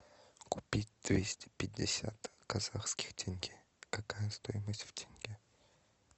купить двести пятьдесят казахских тенге какая стоимость в тенге